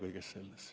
Aitäh!